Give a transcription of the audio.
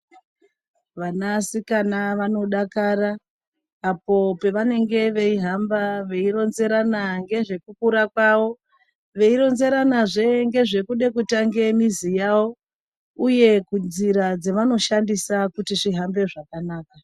Vanasikana vanodakara apo pavanenge veihamba veironzerana ngezvekukura kwavo. Veironzeranazve ngezvekuda kutange muzi yavo, uye kunzira dzavanoshandisa kuti zvihambe zvakanaka.